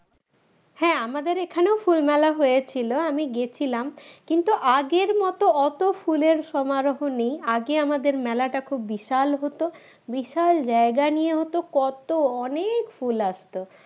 হ্যাঁ আমাদের এদিকে ও ফুল মেলা হয়েছিল আমি গিয়েছিলাম কিন্তু আগের মত অত ফুলের সমরাহ নেই আগে আমাদের মেলাটা খুব বিশাল হত বিশাল জায়গা নিয়ে হতো কত অনেক ফুল আসতো